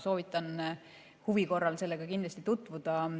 Soovitan huvi korral sellega tutvuda.